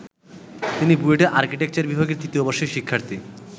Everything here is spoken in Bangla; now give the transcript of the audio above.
তিনি বুয়েটের আর্কিটেকচার বিভাগের তৃতীয় বর্ষের শিক্ষার্থী।